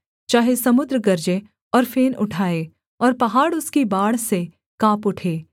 चाहे समुद्र गरजें और फेन उठाए और पहाड़ उसकी बाढ़ से काँप उठे सेला